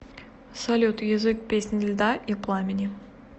салют язык песнь льда и пламени